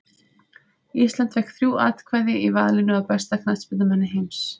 Ísland fékk þrjú atkvæði í valinu á besta knattspyrnumanni heims.